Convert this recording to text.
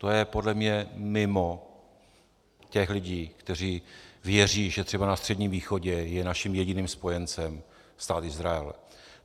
To je podle mě mimo těch lidí, kteří věří, že třeba na Středním východě je naším jediným spojencem Stát Izrael.